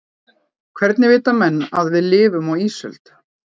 hvernig vita menn að við lifum á ísöld